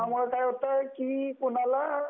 त्यामुळ काय होत की कोणाला